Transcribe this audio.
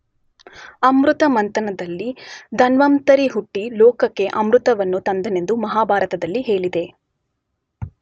ಅಮೃತಮಂಥನದಲ್ಲಿ ಧನ್ವಂತರಿ ಹುಟ್ಟಿ ಲೋಕಕ್ಕೆ ಅಮೃತವನ್ನು ತಂದನೆಂದು ಮಹಾಭಾರತದಲ್ಲಿ ಹೇಳಿದೆ.